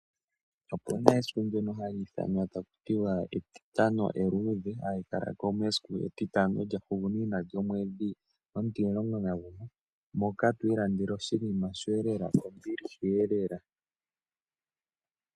Okuna esiku hali ithanwa taku tiwa etitano eluudhe, hali kala ko mesiku etitano lyahugunina lyomwedhi omutimulongo nagumwe, moka to ilandele oshinima shoye lela kombiliha elela.